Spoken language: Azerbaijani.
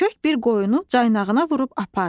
Kök bir qoyunu caynağına vurub apardı.